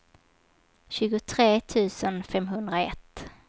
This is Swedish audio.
tjugotre tusen femhundraett